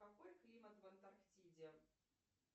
какой климат в антарктиде